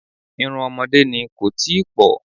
Irun ọmọdé ni, kò tíì pọ̀.